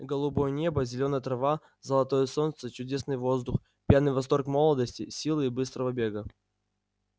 голубое небо зелёная трава золотое солнце чудесный воздух пьяный восторг молодости силы и быстрого бега